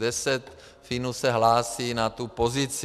Deset Finů se hlásí na tu pozici.